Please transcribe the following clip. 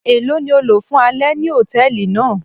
Elo ni o lo fun alẹ ni hòtẹ́ẹ̀lì naa.